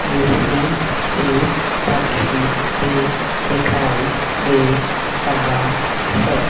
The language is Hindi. जिसमें एक पक्षी भी दिखाई दे रहा है।